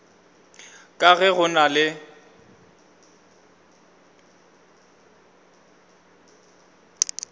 ka ge go na le